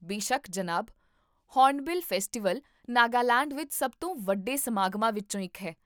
ਬੇਸ਼ੱਕ, ਜਨਾਬ, Hornbill Festival Nagaland ਵਿੱਚ ਸਭ ਤੋਂ ਵੱਡੇ ਸਮਾਗਮਾਂ ਵਿੱਚੋਂ ਇੱਕ ਹੈ